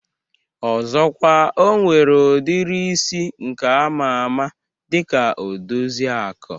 Ọzọkwa, O nwere udiri isi nke ama ama dika Odoziaku